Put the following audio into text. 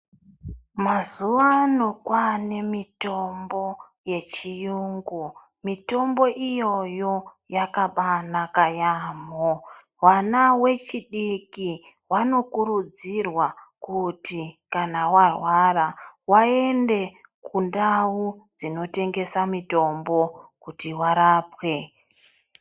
Mazuvano kwane mitombo yechiyungu. Mitombo iyoyo yakabanaka yaamho. Vana vechidiki vanokuridzirwa kuti kana varwara, vaende kundau dzinotengesa mitombo kuti varapwe.